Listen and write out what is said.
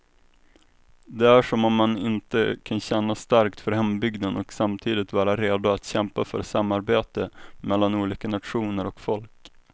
Det är som om man inte kan känna starkt för hembygden och samtidigt vara redo att kämpa för samarbete mellan olika nationer och folk.